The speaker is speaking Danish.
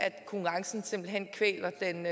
konkurrencen simpelt hen kvæler den